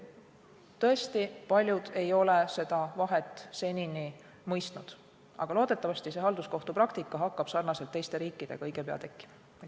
Tõesti, paljud ei ole seda vahet senini mõistnud, aga loodetavasti see halduskohtupraktika hakkab samamoodi nagu teistes riikides õige pea tekkima.